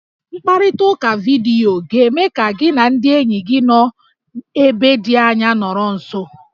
Mkparịtaụka vidiyo ga-eme ka gị na ndị enyi gị nọ ebe dị anya nọrọ nso